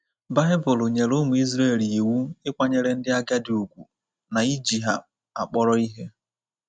Baịbụl nyere ụmụ Israel iwu ịkwanyere ndị agadi ùgwù na iji ha akpọrọ ihe.